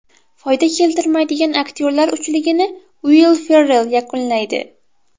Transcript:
Foyda keltirmaydigan aktyorlar uchligini Uill Ferrell yakunlaydi.